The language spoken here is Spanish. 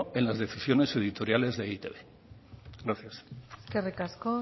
en las decisiones editoriales de e i te be gracias eskerrik asko